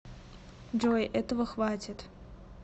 джой этого хватит